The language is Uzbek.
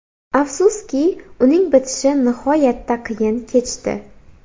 Afsuski, uning bitishi nihoyatda qiyin kechdi.